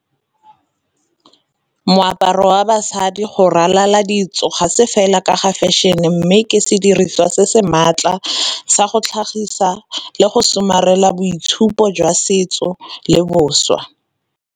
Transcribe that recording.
Moaparo wa basadi go ralala ditso ga se fela ka ga fashion-e mme ke sediriswa se se maatla, sa go tlhagisa le go somarela boitshupo jwa setso le boswa.